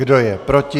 Kdo je proti?